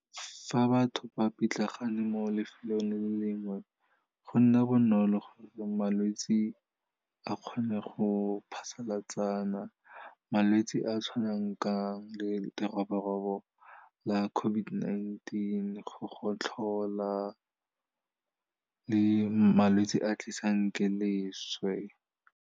Fa batho ba pitlagane mo lefelong le lengwe, go nna bonolo gore malwetse a kgone go phasalatsana, malwetse a tshwanang ka leroborobo la COVID-19, go gotlhola le malwetse a tlisang ke leswe.